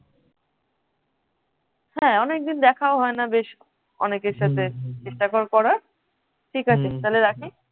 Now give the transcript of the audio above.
হাঁ অনেকদিন দেখাও হয় না বেশ অনেকের সাথে চেষ্টা কর করার ঠিক আছে তাহলে রাখি?